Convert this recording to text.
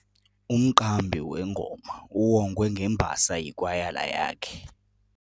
Umqambi wengoma uwongwe ngembasa yikwayala yakhe.